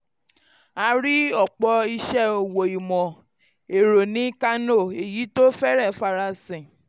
a rí ọ̀pọ̀ iṣẹ́ òwò ìmọ̀ ẹ̀rọ ní kano èyí tó fẹ́rẹ̀ẹ́ farasin.